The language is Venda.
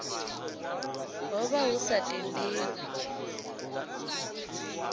ho vha hu sa tendelwi